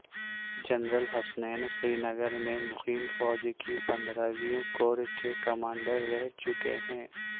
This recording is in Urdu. جنرل حسنین سرینگر میں مقیم فوج کی پندرہویں کور کے کمانڈر رہ چکے ہیں